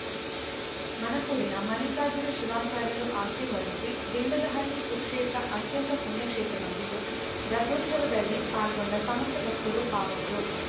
ಮಣಕೂರಿನ ಮಲ್ಲಿಕಾರ್ಜುನ ಶಿವಾಚಾರ್ಯರು ಆಶೀರ್ವದಿಸಿ ದಿಂಡದಹಳ್ಳಿ ಸುಕ್ಷೇತ್ರ ಅತ್ಯಂತ ಪುಣ್ಯ ಕ್ಷೇತ್ರವಾಗಿದ್ದು ರಥೋತ್ಸವದಲ್ಲಿ ಪಾಲ್ಗೊಂಡ ಸಮಸ್ತ ಭಕ್ತರು ಪಾವನರು